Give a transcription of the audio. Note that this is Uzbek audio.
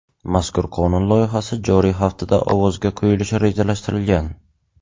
Mazkur qonun loyihasi joriy haftada ovozga qo‘yilishi rejalashtirilgan.